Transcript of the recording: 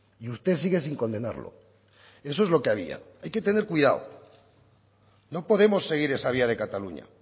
y usted sigue sin condenarlo eso es lo que había hay que tener cuidado no podemos seguir esa vía de cataluña